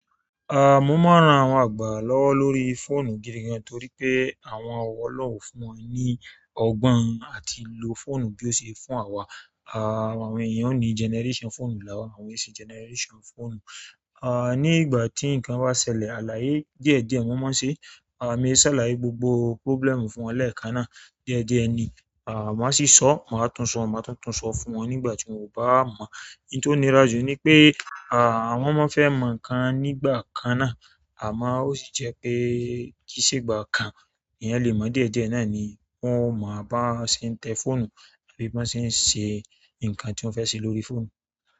Ah, mo máa ń ran àwọn àgbà lọ́wọ́ lórí fóònù gidi gan torí pé àwọn olohun o fún wọn ní ọgbọ́n àti lo fóònù bí ó ṣe fún àwa. Ah, àwọn èèyàn ò ní generation fóònù làwa àwọn ese generation fóònù. Ah ni ìgbà tí nkán ba ṣẹlẹ̀ àlàyé díẹ̀ díẹ̀ won maa n ṣe. Ah, me ṣàlàyé gbogbo problem fún wọn lẹ́ẹ̀kan náà. Díẹ̀díẹ̀ ni, ah, màá sì sọ̀, màá tún sọ, màá túntùn sọ fún wọn nígbà tí mo bá mọ́. Ohun tó nira jù ni pé, ah, wọn mọ fẹ́ mọ́ ǹkan nígbà kan náà àmọ́ ó sì jẹ́ pé kìí ṣe ìgbà kan èèyàn lè mọ̀ díẹ̀díẹ̀ náà ni wọ́n máa bá ṣe ń tẹ fóònù àbí bá ṣe ń ṣe ǹkan tí wọ́n fẹ́ ṣe lórí fóònù.